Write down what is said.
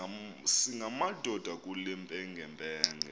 singamadoda kule mpengempenge